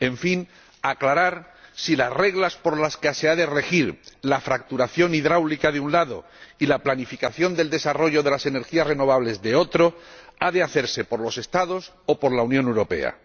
en fin, aclarar si las reglas por las que se ha de regir la fracturación hidráulica, por un lado, y la planificación del desarrollo de las energías renovables, por otro, las han de fijar los Estados o la Unión Europea.